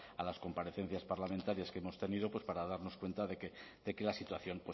a las comparecencias parlamentarias que hemos tenido pues para darnos cuenta de que la situación